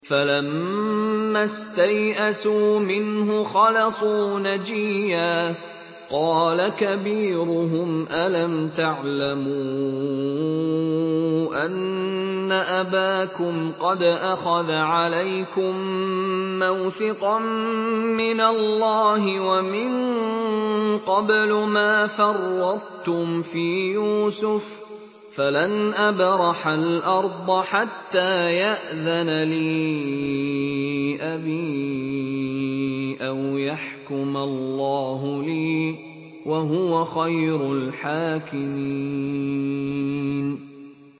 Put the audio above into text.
فَلَمَّا اسْتَيْأَسُوا مِنْهُ خَلَصُوا نَجِيًّا ۖ قَالَ كَبِيرُهُمْ أَلَمْ تَعْلَمُوا أَنَّ أَبَاكُمْ قَدْ أَخَذَ عَلَيْكُم مَّوْثِقًا مِّنَ اللَّهِ وَمِن قَبْلُ مَا فَرَّطتُمْ فِي يُوسُفَ ۖ فَلَنْ أَبْرَحَ الْأَرْضَ حَتَّىٰ يَأْذَنَ لِي أَبِي أَوْ يَحْكُمَ اللَّهُ لِي ۖ وَهُوَ خَيْرُ الْحَاكِمِينَ